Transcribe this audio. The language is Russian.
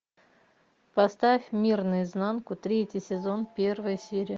поставь мир наизнанку третий сезон первая серия